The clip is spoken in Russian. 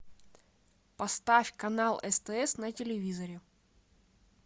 поставь канал стс на телевизоре